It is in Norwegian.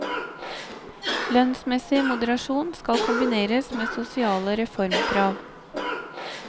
Lønnsmessig moderasjon skal kombineres med sosiale reformkrav.